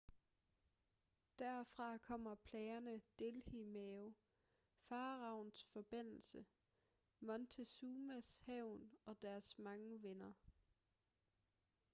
derfra kommer plagerne delhi-mave faraoens forbandelse montezumas hævn og deres mange venner